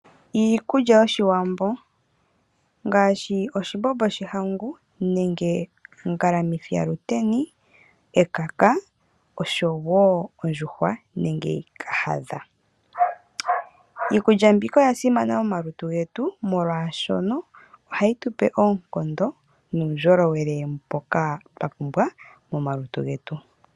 Iikulya yOshiwambo ngaashi oshimbombo shomahangu nenge ongalamithi Yaluteni , ekaka oshowoo ondjuhwa nenge Kahadha . Iikulya mbika oyasimana momalutu getu molwaashono ohayi tupe oonkondo nuundjowele mboka twapumbwa momalutu getu.